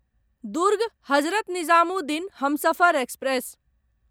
Durg Hazrat Nizamuddin Humsafar express